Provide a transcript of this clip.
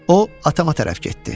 O atama tərəf getdi.